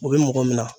U bɛ mɔgɔ minɛ